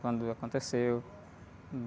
Quando aconteceu.